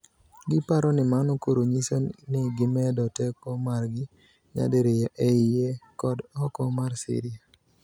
Giparo ni mano koro nyiso ni gimed teko margi nyadiriyo eie kod ooko mar Syria